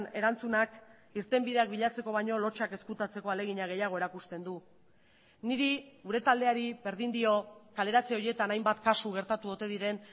erantzunak irtenbideak bilatzeko baino lotsak ezkutatzeko ahalegina gehiago erakusten du niri gure taldeari berdin dio kaleratze horietan hainbat kasu gertatu ote diren